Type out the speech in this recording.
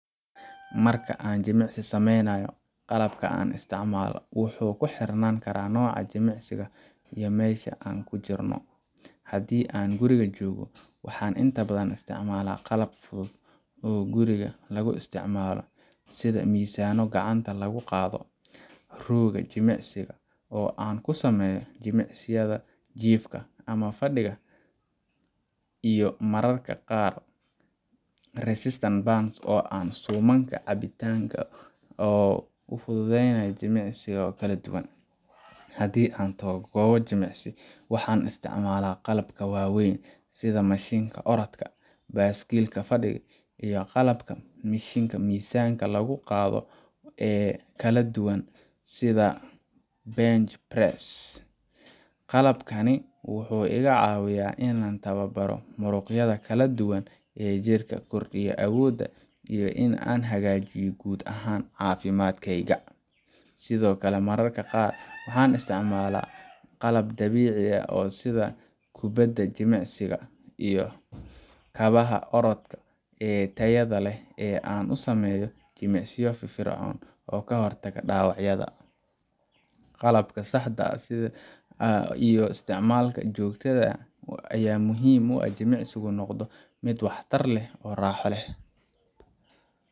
Marka aan jimicsi sameynayo, qalabka aan isticmaalo wuxuu ku xirnaan karaa nooca jimicsiga iyo meesha aan ku jirno. Haddii aan guriga joogno, waxaan inta badan isticmaalaa qalab fudud oo guri lagu isticmaalo sida miisaanno gacanta lagu qaado, rooga jimicsiga oo aan ku sameeyo jimicsiyada jiifka ama fadhiga sida plank ama yoga, iyo mararka qaar resistance bands oo ah suumanka caabbinta oo fududeynaya jimicsiyada kala duwan. Haddii aan tago goob jimicsi ama , waxaan isticmaalaa qalabka waaweyn sida mashiinka orodka, baaskiil fadhiga, iyo qalabka mishiinnada miisaanka lagu qaado ee kala duwan sida bench press, Qalabkani wuxuu iga caawiyaa inaan tababaro muruqyada kala duwan ee jirka, kordhiyo awooda, iyo in aan hagaajiyo guud ahaan caafimaadkayga Sidoo kale, mararka qaar waxaan isticmaalaa qalab dabiici ah sida kubbadda jimicsiga iyo kabaha orodka ee tayada leh si aan u sameeyo jimicsiyo firfircoon oo ka hortaga dhaawacyada. Qalabka saxda ah iyo isticmaalka joogtada ah ayaa muhiim u ah in jimicsigu noqdo mid waxtar leh oo raaxo leh.